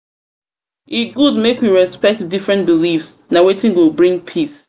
e good make we respect different beliefs na wetin go bring peace.